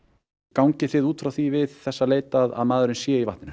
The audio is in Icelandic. gangið þið út frá því við þessa leit að maðurinn sé í vatninu